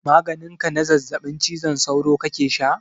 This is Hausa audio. Maganin ka na zazzaɓin cizon sauro kake sha?